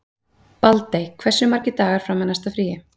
Baldey, hversu margir dagar fram að næsta fríi?